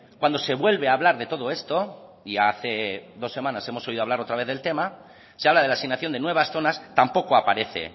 cuando se vuelve a hablar de todo esto y hace dos semanas hemos oído hablar otra vez de tema se habla de la asignación de nuevas zonas tampoco aparece